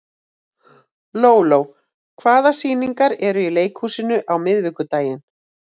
Lóló, hvaða sýningar eru í leikhúsinu á miðvikudaginn?